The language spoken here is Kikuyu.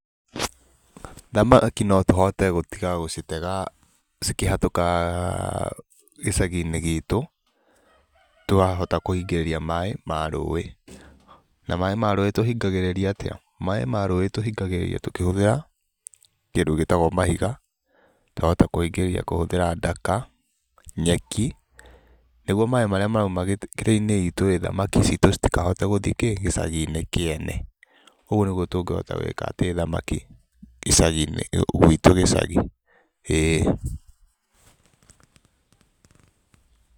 Thamaki no tũhote gũtiga gũcitega cikĩhatũka gĩcagi-inĩ gitũ twahota kũhingĩrĩria maĩ ma rũĩ. Na maĩ ma rũĩ tũhingagĩrĩria atĩa? Maĩ ma rũĩ tũhingagĩrĩria kũhũthĩra kĩndũ gĩtagwo mahiga, twahota kũhingĩrĩria kũhũthĩra ndaka, nyeki nĩguo maĩ marĩa marauma kĩrĩainĩ itũ rĩ, thamaki citũ citikahote gũthi kĩ, gĩcagi-inĩ kĩene. Ũguo nĩguo tũngĩhota gũĩkatĩ thamaki gĩcagi-inĩ gwitũ gĩcagi, ĩĩ.